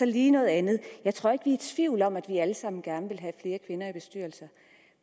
lige noget andet jeg tror ikke vi er i tvivl om at vi alle sammen gerne vil have flere kvinder i bestyrelser